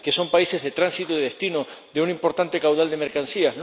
que son países de tránsito y destino de un importante caudal de mercancías?